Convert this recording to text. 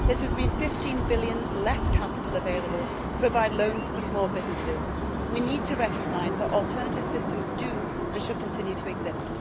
This would mean EUR 15 billion less capital available to provide loans for small businesses. We need to recognise that alternative systems do and should continue to exist.